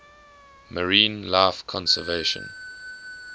marine life conservation